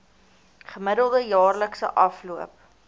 gemiddelde jaarlikse afloop